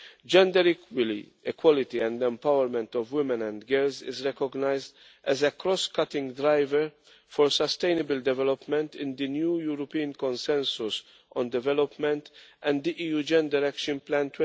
Gender equality and the empowerment of women and girls are recognised as a cross cutting driver for sustainable development in the new European consensus on development and the EU gender action plan